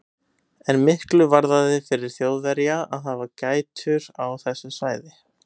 En miklu varðaði fyrir Þjóðverja að hafa gætur á þessu svæði.